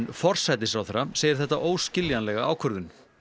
forsætisráðherra segir þetta óskiljanlega ákvörðun